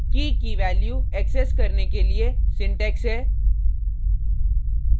कीkey की value access करने के लिए सिंटेक्स है